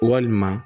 Walima